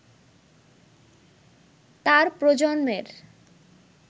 তার প্রজন্মের